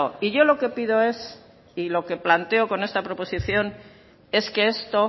y yo lo que pido es y lo que planteo con esta proposición es que esto